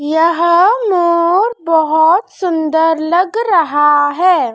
यह मोर बहोत सुंदर लग रहा है।